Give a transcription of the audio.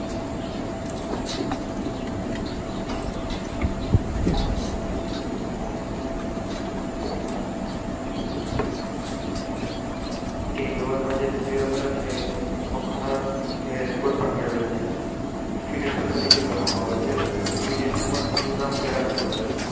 એક ઓવેર માં જે ધોની રમેલો છે. એમાં ગણા Record પણ મેળવેલ છે Finisher તારી કે ગણવા માં આવે છે. Finesher તરીકે ધોની નું નામ પેલા Number છે.